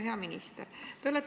Hea minister!